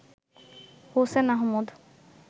Hossain Ahmed